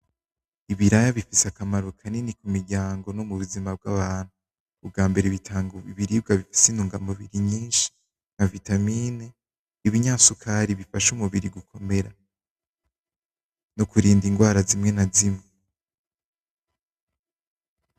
Ibiraraya bifise akamaro kanini k'umiryango no mu buzima bw'abantu, ubwambere bitanga ibirwa bifise intungamubiri nyinshi, nka vitamine ibinyasukari bifasha umubiri gukomera. No kurinda ingwara zimwe na zimwe.